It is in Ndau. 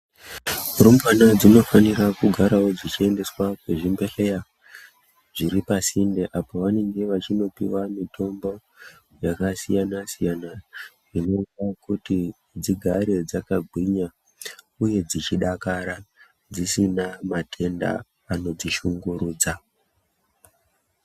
Rumbwana dzinofanirawo kugara dzichiendeswa kuzvibhedhlera dziri pasinde apo pavanenge vachindopihwa mitombo yakasiyana siyana inoita kuti dzigare dzakagwinya uye dzichidakara dzisina matenda anodzi shungurudza.